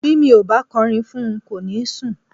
Bí mi ò bá kọrin fún un, kò ní sùn.